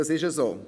Das ist so.